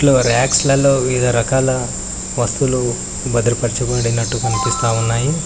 లో రాక్స్ లల్లో వివిధ రకాల వస్తువులు భద్రపరచబడినట్టు కనిపిస్తా ఉన్నాయి.